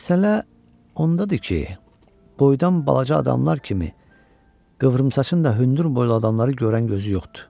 Məsələ ondadır ki, boydan balaca adamlar kimi qıvrımsaçın da hündürboylu adamları görən gözü yoxdur.